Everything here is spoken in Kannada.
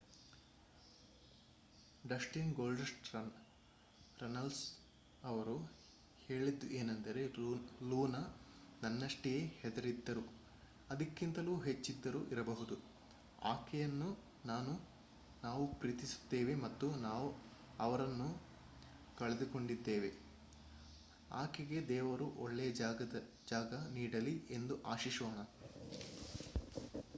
ಡಸ್ಟಿನ್ ಗೋಲ್ಡಸ್ಟ್ ರನಲ್ಸ್ ಅವರು ಹೇಳಿದ್ದು ಏನೆಂದರೆ ಲೂನ ನನ್ನಷ್ಟೆಯೇ ಹೆದರಿದ್ದರು...ಅದಕ್ಕಿಂತಲೂ ಹೆಚ್ಚಿದ್ದರೂ ಇರಬಹುದು..ಆಕೆಯನ್ನು ನಾವು ಪ್ರೀತಿಸುತ್ತೇವೆ ಮತ್ತು ನಾವು ಅವರನ್ನು ಕಳೆದುಕೊಂಡಿದ್ದೇವೆ... ಆಕೆಗೆ ದೇವರು ಒಳ್ಳೆಯ ಜಾಗ ನೀಡಲಿ ಎಂದು ಆಶಿಸೋಣ.